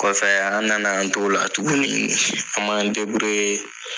Kɔfɛɛ an nana an t'ola tuguni an m'an